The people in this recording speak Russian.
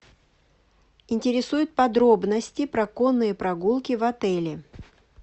интересуют подробности про конные прогулки в отеле